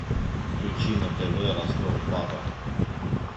включи на тв ростов папа